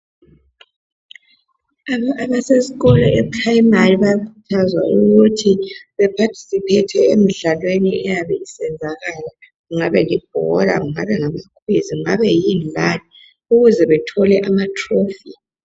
Abaseskolo e primary bayakuthazwa ukuthi baphathisiphethe emdlalweni eyabe isenzakala ngabe libhola, ngabe amakhwizi ngabe yini lani. Ukuze bethole amatrofi.